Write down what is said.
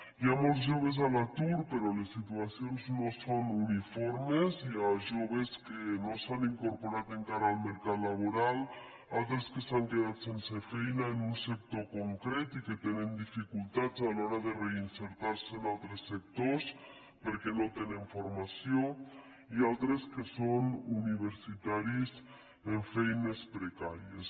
hi ha molts joves a l’atur però les situacions no són uniformes hi ha joves que no s’han incorporat encara al mercat laboral altres que s’han quedat sense feina en un sector concret i que tenen dificultats a l’hora de reinserir se en altres sectors perquè no tenen formació i altres que són universitaris amb feines precàries